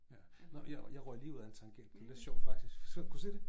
Ja nåh ja jeg røg lige ud af en tangent det var lidt sjovt faktisk kunne du se det?